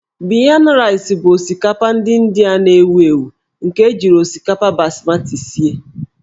Biryani Rice' bụ osikapa ndị Indịa na-ewu ewu nke ejiri osikapa basmati sie.